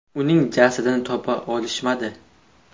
Uning jasadini topa olishmadi.